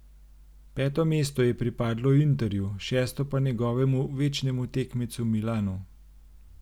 Peto mesto je pripadlo Interju, šesto pa njegovemu večnemu tekmecu Milanu.